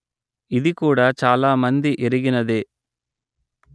ఇది కూడ చాలా మంది ఎరిగినదే